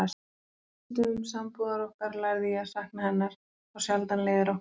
Á fyrstu dögum sambúðar okkar lærði ég að sakna hennar þá sjaldan leiðir okkar skildi.